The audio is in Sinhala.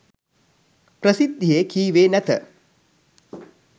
ප්‍රසිද්ධියේ කීවේ නැත.